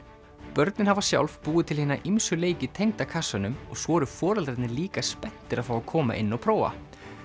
börnin hafa sjálf búið til hina ýmsu leiki tengda kassanum og svo eru foreldrarnir líka spenntir að fá að koma inn og prófa